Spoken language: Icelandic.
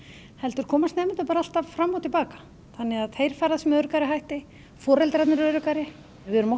heldur komast nemendur bara alltaf fram og til baka þannig að þeir ferðast með öruggari hætti foreldrarnir eru öruggari við erum oft